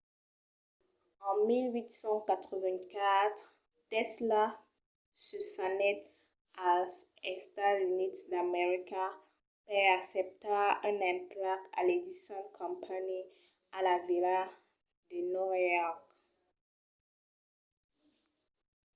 en 1884 tesla se s'anèt als estats units d'america per acceptar un emplec a l'edison company a la vila de nòva york